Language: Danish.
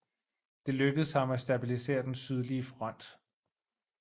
Det lykkedes ham at stabilisere den sydlige front